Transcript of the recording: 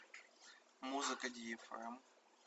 музыка ди фм